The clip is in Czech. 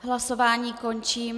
Hlasování končím.